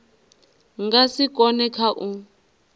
nga si kone kha u